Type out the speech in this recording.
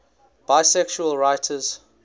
bisexual writers